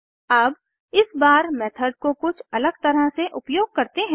अब इस बार मेथड को कुछ अलग तरह से उपयोग करते हैं